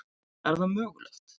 Er það mögulegt?